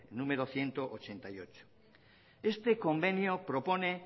número ehun eta laurogeita zortzi este convenio propone